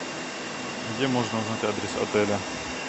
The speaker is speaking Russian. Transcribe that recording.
где можно узнать адрес отеля